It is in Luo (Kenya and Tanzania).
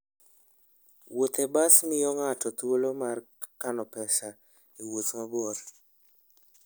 Wuoth e bas miyo ng'ato thuolo mar kano pesa e wuoth mabor.